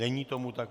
Není tomu tak.